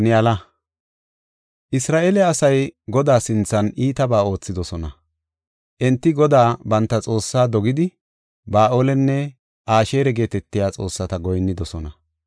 Isra7eele asay Godaa sinthan iitabaa oothidosona. Enti Godaa banta Xoossaa dogidi, Ba7aalenne Asheera geetetiya xoossata goyinnidosona.